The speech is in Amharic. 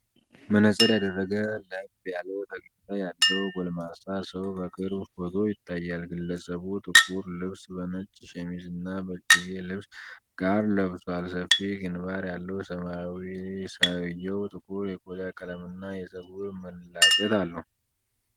መነጽር ያደረገ፣ ለብ ያለ ፈገግታ ያለው ጎልማሳ ሰው የቅርብ ፎቶ ይታያል። ግለሰቡ ጥቁር ልብስ ከነጭ ሸሚዝ እና ከእጅጌ ልብስ ጋር ለብሷል። ሰፊ ግንባር ያለው ሰውዬው ጥቁር የቆዳ ቀለምና የፀጉር መላጨት አለው።